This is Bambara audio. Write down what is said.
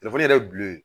Telefɔni yɛrɛ ye bulu ye